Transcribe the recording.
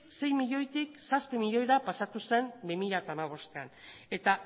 sei milioitik zazpi milioira pasatu zen bi mila hamabostean eta